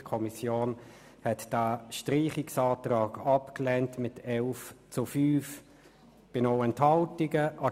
Die Kommission lehnte den Streichungsantrag mit 11 zu 5 Stimmen bei 0 Enthaltungen ab.